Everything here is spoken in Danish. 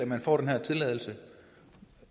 man får den her tilladelse